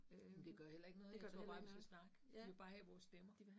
Men det gør heller ikke noget, jeg tror bare vi skal snakke. De vil bare have vores stemmer